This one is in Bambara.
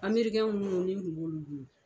Amerikɛn munnu ni n kun b'olu bolo